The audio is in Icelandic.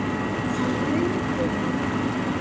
Það rumdi í honum.